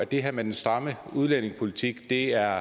det her med den stramme udlændingepolitik mere